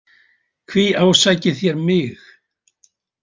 Hví ásækið þér mig?